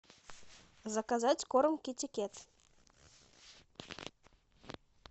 заказать корм китикет